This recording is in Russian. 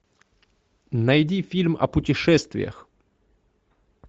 найди фильм о путешествиях